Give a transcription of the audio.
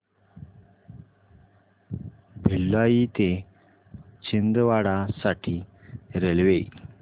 भिलाई ते छिंदवाडा साठी रेल्वे